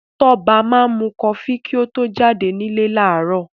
Tọ́ba máa mu kọfí kí ó tó jáde nílé láàárọ̀.